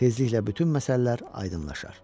Tezliklə bütün məsələlər aydınlaşar.